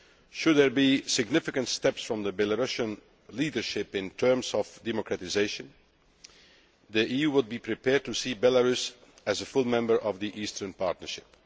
Should there be significant steps from the Belarusian leadership in terms of democratisation, the EU would be prepared to see Belarus as a full member of the Eastern Partnership.